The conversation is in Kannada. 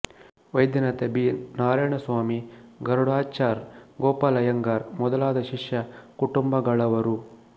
ವೈದ್ಯನಾಥನ್ ಬಿ ನಾರಾಯಣ ಸ್ವಾಮಿ ಗರುಡಾಚಾರ್ ಗೋಪಾಲ್ ಐಯ್ಯಂಗಾರ್ ಮೊದಲಾದ ಶಿಷ್ಯ ಕುಟುಂಬಗಳವರು